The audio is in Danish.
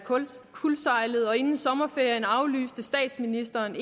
kuldsejlet og inden sommerferien aflyste statsministeren